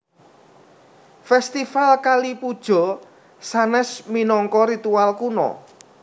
Fèstival Kali Puja sanès minangka ritual kuno